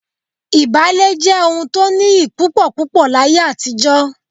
Ìbálé jẹ́ ohun tó nìyí púpọ̀púpọ̀ láyé àtijọ́